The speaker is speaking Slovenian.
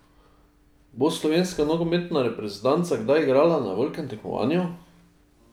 Bo slovenska nogometna reprezentanca kdaj igrala na velikem tekmovanju?